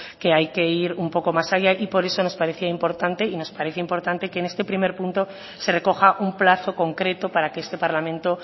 que hay que ir un poco más allá y por eso nos parecía importante y nos parece importante que en este primer punto se recoja un plazo concreto para que este parlamento